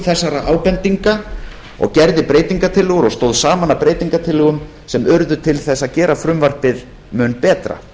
þessara ábendinga og stóð saman að breytingartillögum sem urðu til þess að gera frumvarpið mun betra